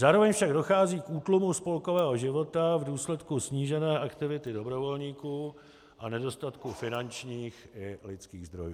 Zároveň však dochází k útlumu spolkového života v důsledku snížené aktivity dobrovolníků a nedostatku finančních i lidských zdrojů.